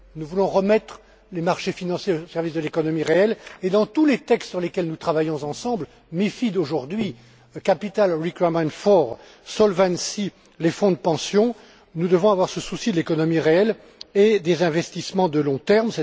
Nous voulons remettre les marchés financiers au service de l'économie réelle et dans tous les textes sur lesquels nous travaillons ensemble, MiFID aujourd'hui, capital requirements for solvency fonds de pension, nous devons avoir ce souci de l'économie réelle et des investissements de long terme.